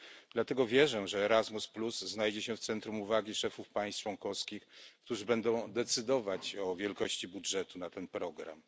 Dlatego wierzę, że Erasmus znajdzie się w centrum uwagi szefów państw członkowskich, którzy będą decydować o wielkości budżetu na ten program.